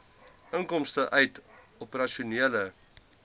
inkomste uit operasionele